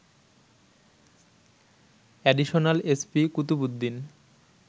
additional SP Qutubuddin